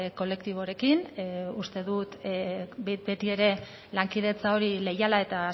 kolektiborekin uste dut betiere lankidetza hori leiala eta